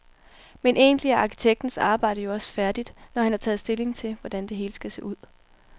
Men egentlig er arkitektens arbejde jo også færdigt, når han har taget stilling til, hvordan det hele skal se ud.